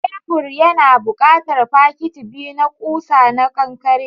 Tebur yana buƙatar fakiti biyu na ƙusa na kankare.